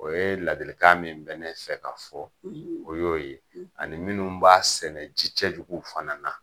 O yee ladilikan min bɛ ne fɛ k'a fɔ, o y'o ye ani minnu b'a sɛnɛ ji cɛduguw fana na.